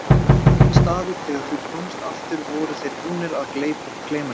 Aðrir staðir þegar þú komst aftur voru þeir búnir að gleyma þér.